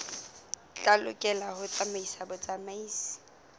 tla lokela ho tsamaisa botsamaisi